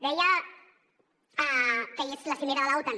deia que és la cimera de l’otan